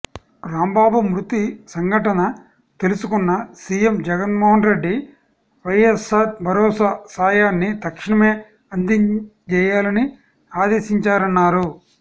రాంబాబు మృతి సంఘటన తెలుసుకున్న సీఎం జగన్మోహన్రెడ్డి వైఎస్సార్ భరోసా సాయాన్ని తక్షణమే అందజేయాలని ఆదేశించారన్నారు